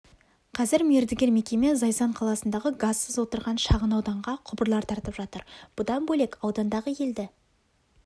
қазір мердігер мекеме зайсан қаласындағы газсыз отырған шағын ауданға құбырлар тартып жатыр бұдан бөлек аудандағы елді